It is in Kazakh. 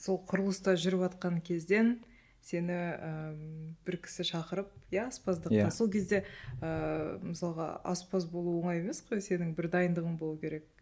сол құрылыста жүріватқан кезден сені і бір кісі шақырып иә аспаздыққа сол кезде ыыы мысалға аспаз болу оңай емес қой сенің бір дайындығың болу керек